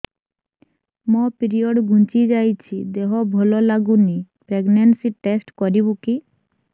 ମୋ ପିରିଅଡ଼ ଘୁଞ୍ଚି ଯାଇଛି ଦେହ ଭଲ ଲାଗୁନି ପ୍ରେଗ୍ନନ୍ସି ଟେଷ୍ଟ କରିବୁ କି